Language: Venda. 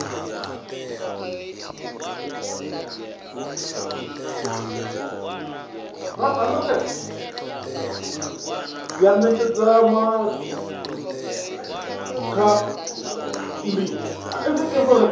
ya ṋetshedzomaa ṋda kha vhapondiwa